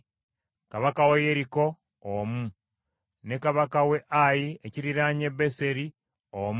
Kabaka w’e Yeriko omu, ne kabaka w’e Ayi ekiriraanye Beseri omu,